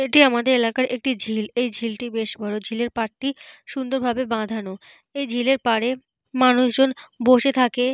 এটি আমাদের এলাকার একটি ঝিল। এই ঝিলটি বেশ বড়। ঝিলের পাড়টি সুন্দরভাবে বাঁধানো। এই ঝিলের পাড়ে মানুষজন বসে থাকে।